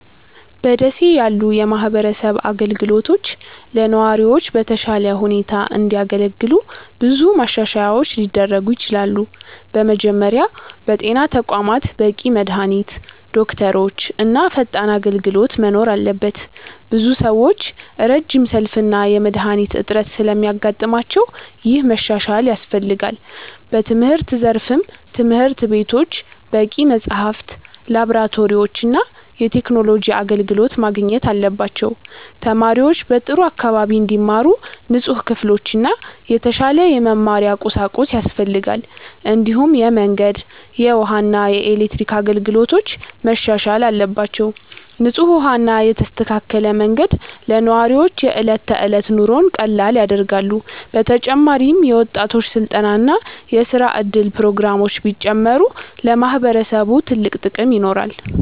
በ ደሴ ያሉ የማህበረሰብ አገልግሎቶች ለነዋሪዎች በተሻለ ሁኔታ እንዲያገለግሉ ብዙ ማሻሻያዎች ሊደረጉ ይችላሉ። በመጀመሪያ በጤና ተቋማት በቂ መድሃኒት፣ ዶክተሮች እና ፈጣን አገልግሎት መኖር አለበት። ብዙ ሰዎች ረጅም ሰልፍ እና የመድሃኒት እጥረት ስለሚያጋጥማቸው ይህ መሻሻል ያስፈልጋል። በትምህርት ዘርፍም ትምህርት ቤቶች በቂ መጽሐፍት፣ ላብራቶሪዎች እና የቴክኖሎጂ አገልግሎት ማግኘት አለባቸው። ተማሪዎች በጥሩ አካባቢ እንዲማሩ ንጹህ ክፍሎችና የተሻለ የመማሪያ ቁሳቁስ ያስፈልጋል። እንዲሁም የመንገድ፣ የውሃ እና የኤሌክትሪክ አገልግሎቶች መሻሻል አለባቸው። ንጹህ ውሃ እና የተስተካከለ መንገድ ለነዋሪዎች የዕለት ተዕለት ኑሮን ቀላል ያደርጋሉ። በተጨማሪም የወጣቶች ስልጠና እና የስራ እድል ፕሮግራሞች ቢጨምሩ ለማህበረሰቡ ትልቅ ጥቅም ይኖራል።